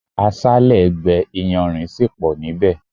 Aṣále gbé iyanrìn sì pọ nibẹ